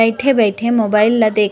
बईठे-बईठे mobile ला देख--